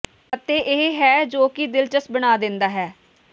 ਅਤੇ ਇਹ ਹੈ ਜੋ ਕੀ ਦਿਲਚਸਪ ਬਣਾ ਦਿੰਦਾ ਹੈ ਹੈ